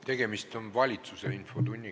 Tegemist on valitsuse infotunniga.